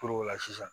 Puru la sisan